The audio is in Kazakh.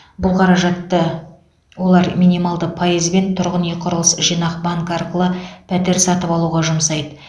бұл қаражатты олар минималды пайызбен тұрғын үй құрылыс жинақ банкі арқылы пәтер сатып алуға жұмсайды